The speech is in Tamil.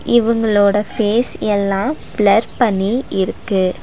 இவுங்களோட ஃபேஸ் எல்லா பிளர் பண்ணி இருக்கு. ‌